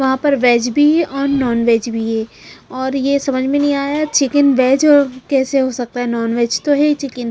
वहां पर वेज भी है और नॉनवेज भी हैऔर ये समझ में नहीं आया चिकन वेज कैसे हो सकता है नॉनवेज तो है ही चिकन ।